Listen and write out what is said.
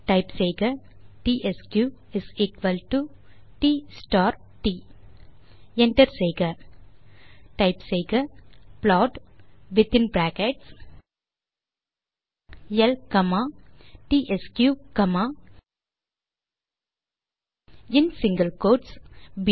type செய்க DSQ d star d enter செய்க type செய்க plot within brackets L comma DSQ comma in single quotes போ